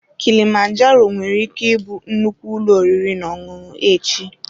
Kilimanjaro nwere ike ịbụ nnukwu ụlọ oriri na ọṅụṅụ echi.